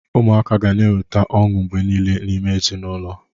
Ụmụaka ga na-eweta ọṅụ mgbe niile n'ime ezinụlọ.